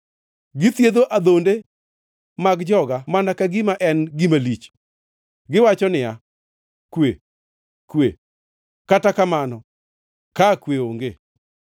Githiedho adhonde mag joga mana ka gima ok en gima lich. Giwacho niya, ‘Kwe, kwe,’ kata mana ka kwe onge.